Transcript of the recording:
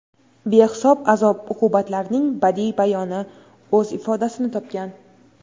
behisob azob-uqubatlarining badiiy bayoni o‘z ifodasini topgan.